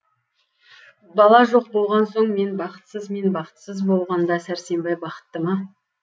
бала жоқ болған соң мен бақытсыз мен бақытсыз болғанда сәрсенбай бақытты ма